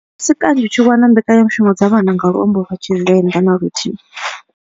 A si kanzhi u tshi wana mbekanyamushumo dza vhana nga luambo lwa Tshivenda na luthihi.